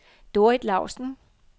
Dorrit Lausen